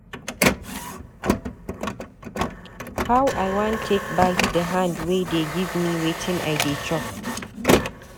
How I wan take bite the hand wey dey give me wetin I dey chop